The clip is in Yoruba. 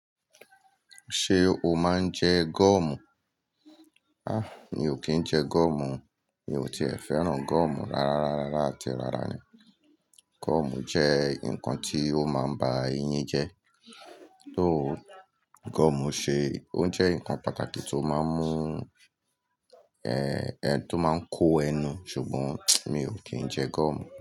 Ṣé o máa ń jẹ goọ̀mù? Mi ò kí ń jẹ goọ̀mù o. Mi ò tí è fẹ́ràn goọ̀mù rárá, rárá, rára àti rárá ni. Goọ̀mù jẹ́ nǹkan tí ó máa ń ba eyín jẹ́. Tó goọ̀mù ṣe, ó jẹ́ nǹkan pàtàkì tó máa ń mú-- tó máa ń kó ẹnu. Ṣùgbọ́n mi ò kí ń jẹ goọ̀mù.